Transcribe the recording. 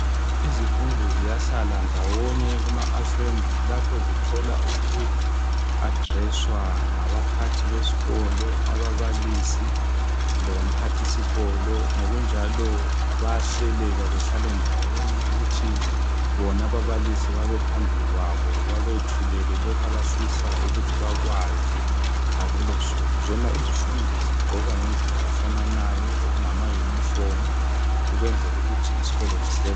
izifundi ziyahlala ndawonye kuma assembly lapho zithola uku addresswa ngabaphathi besikolo ababalisi lomphathisikolo ngokunjalo bayahleleka bahlale ndawonye kuthi bona ababalisi babe phambili kwabo babethulele lokhu abafisa ukuthi bakazi ngalolosuku zona izifundi zigqoka ngendlela efananayo ngama uniform ukwenzela ukuthi isikolo sihleleke